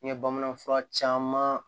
N ye bamanan fura caman